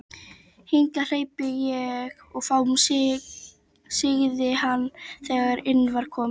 Hingað hleypi ég fáum sagði hann, þegar inn var komið.